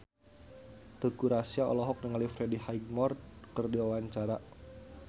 Teuku Rassya olohok ningali Freddie Highmore keur diwawancara